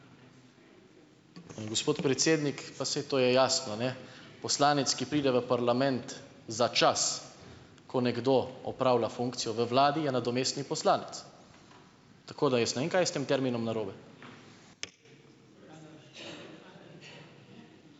Gospod predsednik, pa saj to je jasno, ne, poslanec, ki pride v parlament za čas, ko nekdo opravlja funkcijo v vladi, je nadomestni poslanec. Tako da jaz ne vem, kaj je s tem terminom narobe.